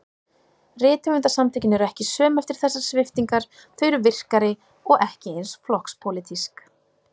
Rithöfundasamtökin eru ekki söm eftir þessar sviptingar, þau eru virkari- og ekki eins flokkspólitísk.